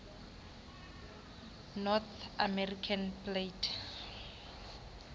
north american plate